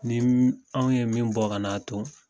Ni m anw ye min bɔ ka n'a ton